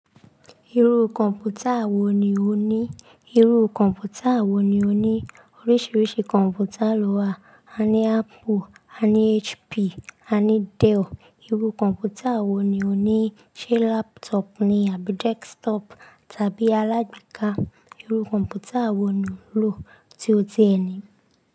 Irú kọ̀npútà wò ní ò ní? Irú kọ̀npútà wò ní ò ní? Oríṣiríṣi kọ̀mpútà ló wà. A ní Apple, a ní HP, a ní Dell. Irú kọ̀npútà wò ní ò ní? Ṣé laptop ni àbí desktop tàbí alágbeká? Irú kọ̀npútà wò ní o n lò tí ó ti ẹ ni?